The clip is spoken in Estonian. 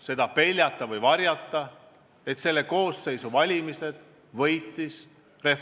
Seda ei saa ju kuidagi varjata ja sel poleks ka mõtet.